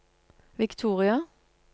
Victoria